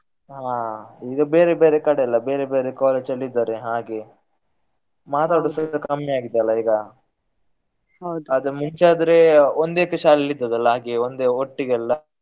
ಹಾ ಈಗ ಬೇರೆ ಬೇರೆ ಕಡೆ ಅಲ್ಲ. ಬೇರೆ ಬೇರೆ college ಅಲ್ಲಿ ಇದ್ದಾರೆ ಹಾಗೆ ಮಾತಾಡುದು ಸಹಿತ ಕಮ್ಮಿ ಆಗಿದೆ ಅಲ್ಲ ಈಗ ಆದ್ರೆ ಮುಂಚೆ ಆದ್ರೆ ಒಂದೇ ಶಾಲೆಯಲ್ಲಿ ಇದ್ದದಲ್ಲ ಹಾಗೆ ಒಂದೇ ಒಟ್ಟಿಗೆಲ್ಲ.